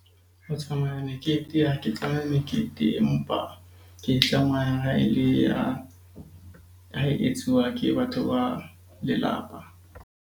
Ho tsamaya mekete ha ke tswa meketeng. Empa ke e tsamaya ha e le ya, ha e etsuwa ke batho ba lelapa.